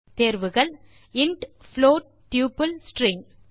தேர்வுகள் int float double string